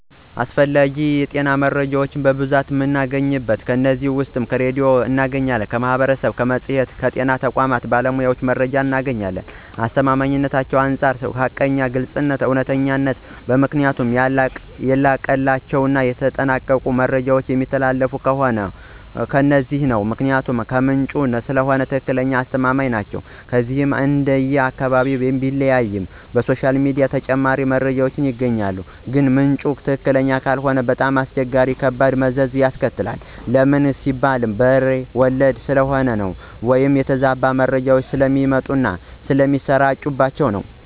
ስለ አስፈላጊ የጤና መረጃዎች በብዙ መንገድ አገኛለሁ ከነዚህም ውስጥ በሬድዮ አገኛለሁ፣ ከማህበረሰቡ፣ በመፅሔትና ከጤና ተቋማት ባሉ ባለሞያዎች መረጃዎችን አገኛለሁኝ፣ ከአስተማማኝነታቸውም አንፃር ሀቀኛና ግልፅ፣ እውነተኛ ናቸው ምክንያቱም ያለቀላቸውና የተጠናቀቁ መረጃዎች የሚተላለፊት ከነዚህ ነው ምክንያቱም ከምንጩ ስለሆነ ትክክለኛና አስተማማኝ ናቸው። እነዚህንም እንደየ አካባቢው ቢለያይም በሶሻል ሚዲያ ተጨማሪ መረጃዎች ይገኛሉ ግን ምንጩ ትክክለኛ ካልሆነ በጣም አስቸጋሪዎችና ከባድ መዘዝ ያስከትላል ለምን ሲባል በሬ ወለደ ስለሚሆን ወይም የተዛባ መረጃ ስለሚሰጡና ስለሚሰራጭባቸው ነው።